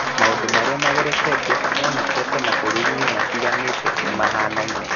Maũndũ marĩa magereketio monekete mabũrũri-inĩ matiganĩte nĩ mahanaine.